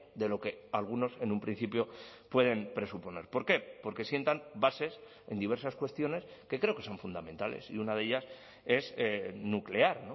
de lo que algunos en un principio pueden presuponer por qué porque sientan bases en diversas cuestiones que creo que son fundamentales y una de ellas es nuclear